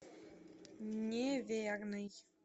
неверный